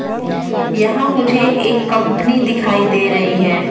यहां मुझे एक कंपनी दिखाई दे रही है।